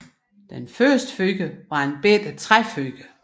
Det første fyr var et lille træfyr